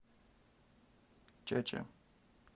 чача